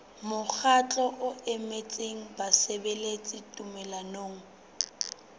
mokgatlo o emetseng basebeletsi tumellanong